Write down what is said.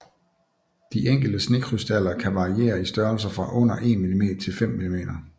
De enkelte snekrystaller kan variere i størrelse fra under 1 mm til 5 mm